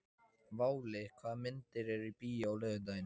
Váli, hvaða myndir eru í bíó á laugardaginn?